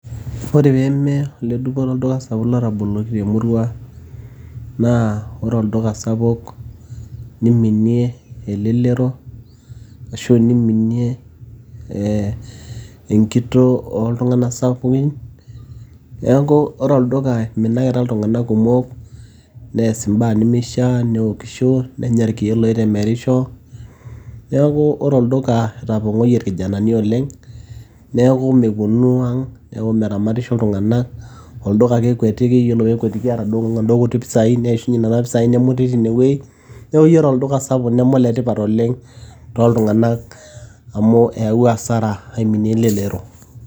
ore peeme oledupoto olduka sapuk lotaboloki temurua naa ore olduka sapuk niminie elelero ashu niminie enkitoo oltung'anak sapukin neeku ore olduka iminakita iltung'anak kumok nees imbaa nemishia neokisho nenya irkeek loitemerisho neeku ore olduka itapong'oyie irkijanani oleng neeku meponu ang neeku meramatisho iltung'anak olduka ake ekwetiki yiolo peekwetiki eeta inaduo kuti pisai neishunye nena pisai nemuti tinewueji neeku yiolo olduka sapuk neme oletipat oleng tooltung'anak amu eyawua asara aiminie elelero.